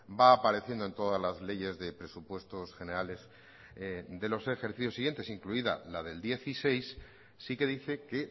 va apareciendo en todas las leyes de presupuestos generales de los ejercicios siguientes incluida la del dieciséis sí que dice que